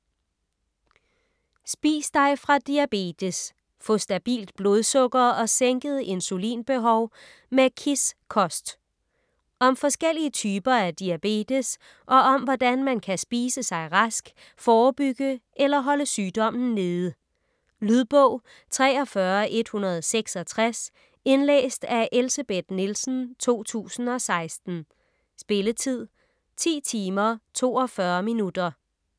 Spis dig fra diabetes: få stabilt blodsukker og sænket insulinbehov med KISS-kost Om forskellige typer af diabetes og om hvordan man kan spise sig rask, forebygge eller holde sygdommen nede. Lydbog 43166 Indlæst af Elsebeth Nielsen, 2016. Spilletid: 10 timer, 42 minutter.